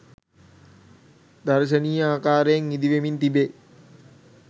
දර්ශනීය ආකාරයෙන් ඉදි වෙමින් තිබේ.